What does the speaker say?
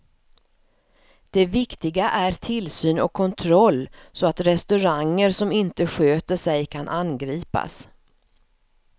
Det viktiga är tillsyn och kontroll så att restauranger som inte sköter sig kan angripas.